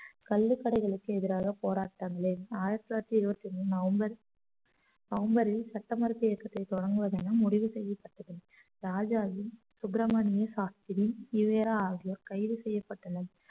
கள்ளு கடைகளுக்கு எதிராக போராட்டங்களில் ஆயிரத்தி தொள்ளாயிரத்தி இருபத்தி மூணு நவம்பர் நவம்பரில் சட்ட மறுப்பு இயக்கத்தை தொடங்குவது என முடிவு செய்யப்பட்டது ராஜாவின் சுப்பிரமணிய சாஸ்திரி ஈ வே ரா ஆகியோர் கைது செய்யப்பட்டனர்